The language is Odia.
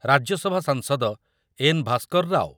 ରାଜ୍ୟସଭା ସାଂସଦ ଏନ୍ ଭାସ୍କରରାଓ